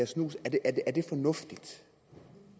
snus er det fornuftigt